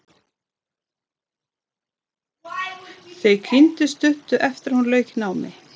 Þau kynntust stuttu eftir að hún lauk námi.